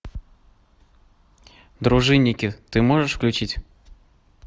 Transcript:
дружинники ты можешь включить